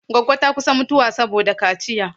Goggo ta kusa mutuwa saboda kaciya.